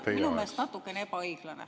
See on minu meelest natukene ebaõiglane.